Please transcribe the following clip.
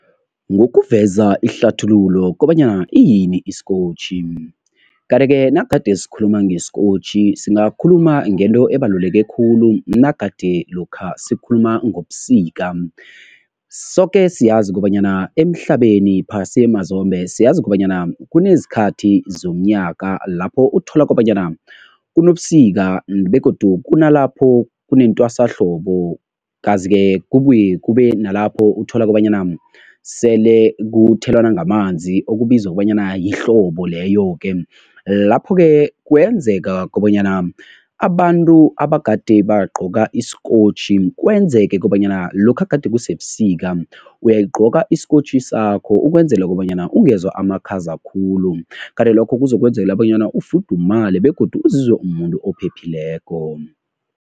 Ngokuveza ihlathululo kobanyana iyini isikotjhi, kanti-ke nagade sikhuluma ngesikotjhi singakhuluma ngento ebaluleke khulu nagade lokha sikhuluma ngobusika. Soke siyazi kobanyana emhlabeni, phasi mazombe, siyazi kobanyana kunezikhathi zomnyaka lapho uthola kobanyana kunobusika begodu kunalapho kunentwasahlobo kazi-ke kubuye kube nalapho uthola kobanyana sele kuthelwana ngamanzi okubizwa kobanyana yihlobo leyo-ke. Lapho-ke kwenzeka kobanyana abantu abagade bagqoka isikotjhi kwenzeke kobanyana lokha gade kusebusika, uyayigqoka isikotjhi sakho ukwenzela kobanyana ungezwa amakhaza khulu kanti lokho kuzokwenzela bonyana ufudumale begodu uzizwe umumuntu ophephileko.